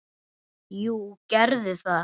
Jú, gerðu það!